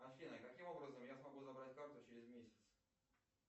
афина каким образом я смогу забрать карту через месяц